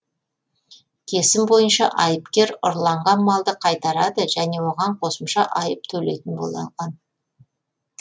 кесім бойынша айыпкер ұрланған малды қайтарады және оған қосымша айып төлейтін болған